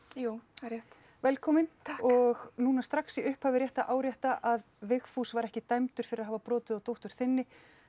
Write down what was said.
jú það er rétt velkomin og núna strax í upphafi er rétt að árétta að Vigfús var ekki dæmdur fyrir að hafa brotið á dóttur þinni